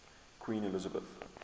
queen elizabeth